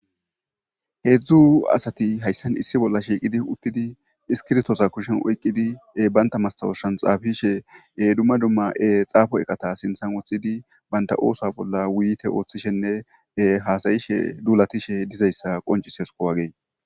heedzdzu asati hayssan issi bolla shiiqidi uttidi iskirtoosa kushen oyqqidi baynta mastawosshan xaafishe dumma dumma7e xaafo eqata sinthan woththidi baynta oosa bolla wuyite ooththishenne haasayishe duulatishe dizayssa qoncisesuko wagee